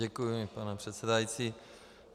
Děkuji, pane předsedající.